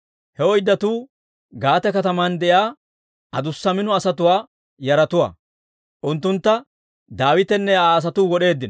He oyddatuu Gaate kataman de'iyaa adussa mino asatuwaa yaratuwaa. Unttuntta Daawitenne Aa asatuu wod'eeddino.